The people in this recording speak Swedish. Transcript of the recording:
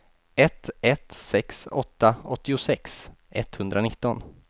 ett ett sex åtta åttiosex etthundranitton